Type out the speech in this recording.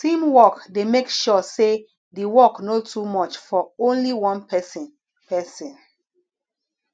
teamwork dey make sure say the work no too much for only one person person